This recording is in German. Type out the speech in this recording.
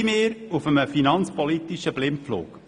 Befinden wir uns auf einem finanzpolitischen Blindflug?